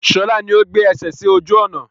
Sọlá ni ó gbé ẹsẹ sì ojú ọnà.